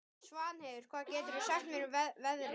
Svanheiður, hvað geturðu sagt mér um veðrið?